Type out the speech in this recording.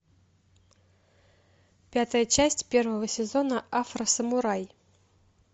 пятая часть первого сезона афросамурай